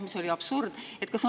See oli absurd!